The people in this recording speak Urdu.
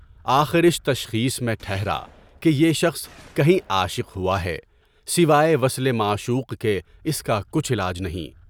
آخر تشخیص میں ٹھہرا کہ یہ شخص کہیں عاشق ہوا ہے، سوائے وصل معشوق کے اس کا کچھ علاج نہیں۔